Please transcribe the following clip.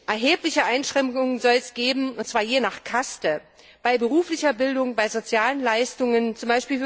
gibt. Erhebliche Einschränkungen soll es nämlich geben und zwar je nach Kaste bei beruflicher Bildung, bei sozialen Leistungen,